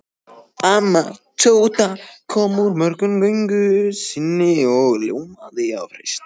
Amma Tóta kom úr morgungöngu sinni og ljómaði af hreysti.